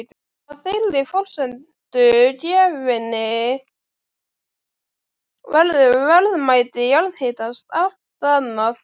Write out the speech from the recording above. Að þeirri forsendu gefinni verður verðmæti jarðhitans allt annað.